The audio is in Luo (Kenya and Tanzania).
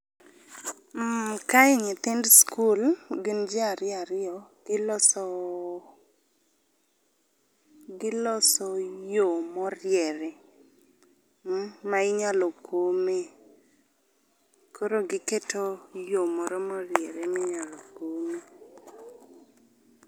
Mm kae nyithind skul gin ji ariyo ariyo, giloso giloso yo moriere, ma inyalo kome. Koro giketo yo moro moriere minyalo komie.